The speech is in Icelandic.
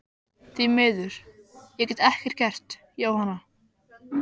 Því miður, ég get ekkert gert, Jóhanna.